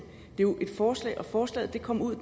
jo et forslag forslaget kom ud